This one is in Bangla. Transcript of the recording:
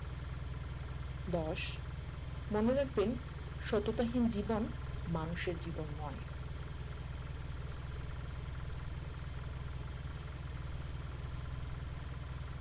দশ মনে রাখবেন সততাহীন জীবন মানুষের জীবন নয়